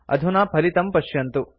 अधुना फलितं पश्यन्तु